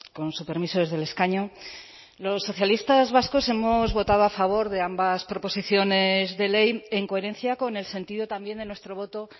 con su permiso desde el escaño los socialistas vascos hemos votado a favor de ambas proposiciones de ley en coherencia con el sentido también de nuestro voto